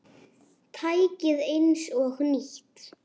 Tækið eins og nýtt.